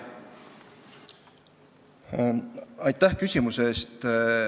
Aitäh küsimuse eest!